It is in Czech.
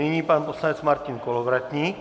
Nyní pan poslanec Martin Kolovratník.